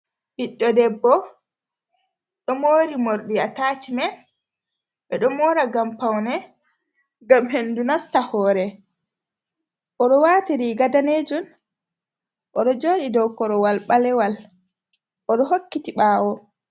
Ɓiɗɗo debbo ɗo mori morɗi atachimen, ɓedo mora ngam paune ngam hendu nasta hore, odo wati riga danejum odo joɗi dow korowal balewal odo hokkiti ɓawo.